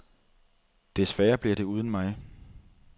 Desværre bliver det uden mig.